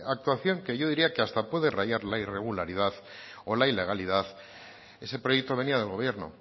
actuación que yo diría que hasta puede rayar la irregularidad o la ilegalidad ese proyecto venía del gobierno